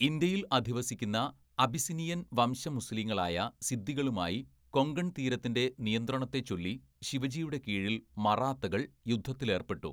ഇന്ത്യയിൽ അധിവസിക്കുന്ന അബിസിനിയൻ വംശ മുസ്ലീങ്ങളായ സിദ്ദികളുമായി, കൊങ്കൺതീരത്തിൻ്റെ നിയന്ത്രണത്തെച്ചൊല്ലി ശിവജിയുടെ കീഴിൽ മറാത്തകൾ യുദ്ധത്തിലേർപ്പെട്ടു.